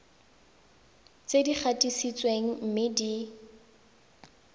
tse di gatisitsweng mme di